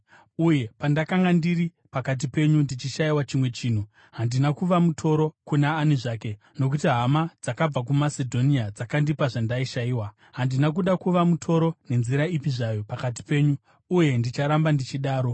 Uye pandakanga ndiri pakati penyu ndichishayiwa chimwe chinhu, handina kuva mutoro kuna ani zvake, nokuti hama dzakabva kuMasedhonia dzakandipa zvandaishayiwa. Handina kuda kuva mutoro nenzira ipi zvayo pakati penyu, uye ndicharamba ndichidaro.